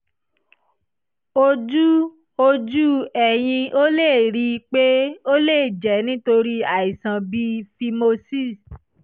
ojú ojú ẹ̀yin ò lè rí i pé ó lè jẹ́ nítorí àìsàn bíi phimosis